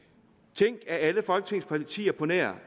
tænk at alle folketingets partier på nær